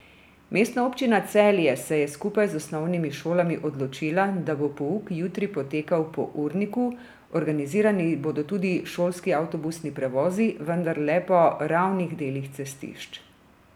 Mestna občina Celje se je skupaj z osnovnimi šolami odločila, da bo pouk jutri potekal po urniku, organizirani bodo tudi šolski avtobusni prevozi, vendar le po ravnih delih cestišč.